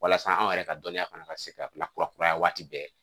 Walasa anw yɛrɛ ka dɔnniya kana se ka kurakuraya waati bɛɛ